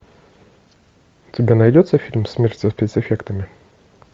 у тебя найдется фильм смерть со спецэффектами